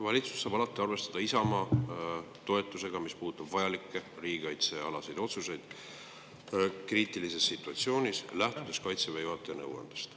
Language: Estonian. Valitsus saab alati arvestada Isamaa toetusega, kui puudutab kriitilises situatsioonis vajalikke riigikaitsealaseid otsuseid, mis lähtuvad Kaitseväe juhataja nõuandest.